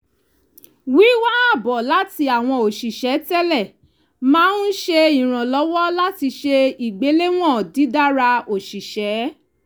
wíwá àbọ̀ láti àwọn òṣìṣẹ́ tẹ́lẹ̀ máa ń ṣe ìrànlọ́wọ́ láti ṣe ìgbéléwọ̀n dídára òṣìṣẹ́